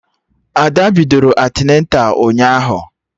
Ada bidoro antịneta ụnyaahụ